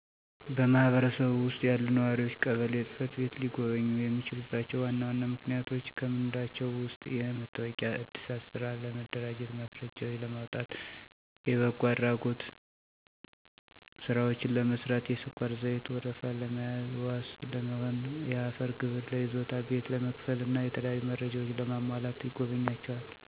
በማህበረሰብዎ ውስጥ ያሉ ነዋሪዎች ቀበሌ ጽ/ቤትን ሊጎበኙ የሚችሉባቸው ዋና ዋና ምክንያቶች ከምንላቸው ውስጥ የመታወቂያ ዕድሳት፣ ስራ ለመደራጀት ማስረጃዎችን ለማውጣት፣ የበጎ አድራጎት ስራዎችን ለመስራት፣ የስኳርና ዘይት ወረፋ ለመያዝ፣ ዋስ ለመሆን፣ የአፈር ግብር ለይዞታ ቤት ለመክፈል እና የተለያዩ መረጃዎች ለማሟላት ይጎበኟቸዋል።